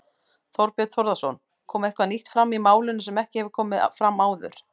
Þorbjörn Þórðarson: Kom eitthvað nýtt fram í málinu sem ekki hefur komið fram áður?